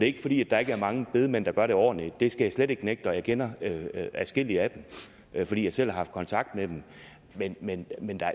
ikke fordi der ikke er mange bedemænd der gør det ordentligt det skal jeg slet ikke nægte og jeg kender adskillige af dem fordi jeg selv har haft kontakt med dem men men